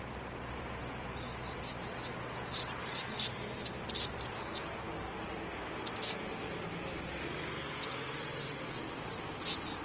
ஆஹ் okay ma'am இப்போ உங்களுக்கு வீட்டுல se~set பண்ணி தந்ததை சொல்றீங்க்~ வீட்டுலயா இல்லன்னா office லயா ma'am உங்களுக்கு problem வந்து வீட்டுலையா ma'am இல்ல office லையா ma'am